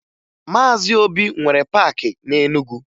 Maazị Obi nwere paakị na Enugu